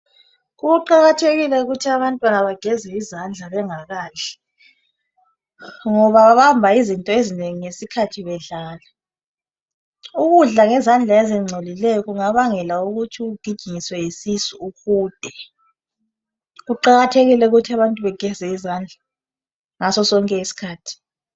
Kuqakathekile ukuthi abantwana bageze izandla bengakadli ngoba babamba izinto ezinengi ngesikhathi bedlala. Ukudla ngezandla ezingcolileyo kungabangela ukuthi ugijinyiswe yisisu uhude. Kuqakathekile ukuthi abantu bageze izandla ngaso sonke isikhathi.